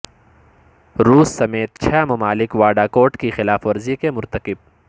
روس سمیت چھ ممالک واڈا کوڈ کی خلاف ورزی کے مرتکب